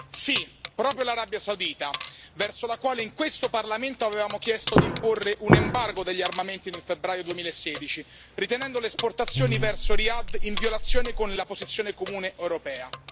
Sì, proprio l'Arabia Saudita, nei confronti della quale in questo Parlamento avevamo chiesto di imporre un embargo degli armamenti nel febbraio 2016, ritenendo le esportazioni verso Riyadh in violazione della posizione comune europea.